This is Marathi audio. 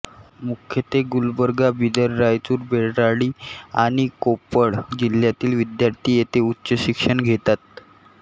मुख्यत्वे गुलबर्गा बिदर रायचूर बेळ्ळारी आणि कोप्पळ जिल्ह्यातील विद्यार्थी येथे उच्चशिक्षण घेतात